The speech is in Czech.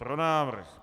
Pro návrh.